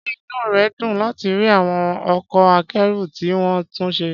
Ṣé inú rẹ dùn láti rí àwọn ọkọ̀ akẹ́rù tí wọ́n tún ṣe?